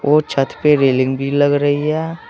वह छत पर रेलिंग भी लग रही है।